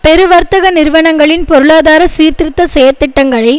பெரு வர்த்தக நிறுவனங்களின் பொருளாதார சீர்திருத்த செயற்திட்டங்களை